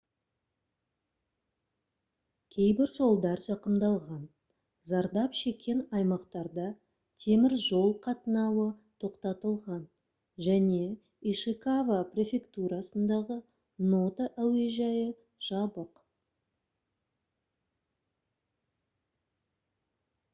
кейбір жолдар зақымдалған зардап шеккен аймақтарда темір жол қатынауы тоқтатылған және ишикава префектурасындағы ното әуежайы жабық